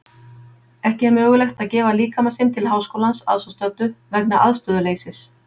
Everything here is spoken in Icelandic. Ekki er mögulegt að gefa líkama sinn til Háskólans að svo stöddu vegna aðstöðuleysis.